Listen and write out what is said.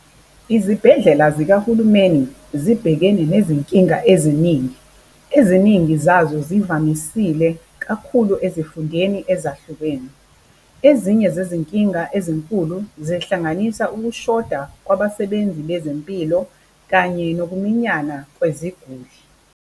Izibhedlela zikahulumeni zibhekene nezinkinga eziningi. Eziningi zazo zivamisile kakhulu ezifundeni ezahlukene. Ezinye zezinkinga ezinkulu zihlanganisa ukushoda kwabasebenzi bezempilo kanye nokuminyana kweziguli.